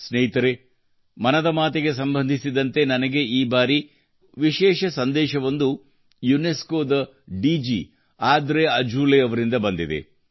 ಸ್ನೇಹಿತರೇ ಮನದ ಮಾತಿಗೆ ಸಂಬಂಧಿಸಿದಂತೆ ನನಗೆ ಈ ಬಾರಿ ಮತ್ತೊಂದು ಮತ್ತು ವಿಶೇಷ ಸಂದೇಶವೊಂದು ಯುನೆಸ್ಕೊ ದ DG Audrey Azoulay Audrey Azoulay ಅವರಿಂದ ಬಂದಿದೆ